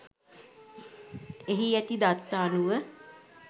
එහි ඇති දත්ත අනුව